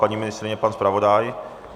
Paní ministryně, pan zpravodaj?